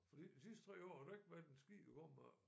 Fordi de sidste 3 år har der ikke været en skid at komme efter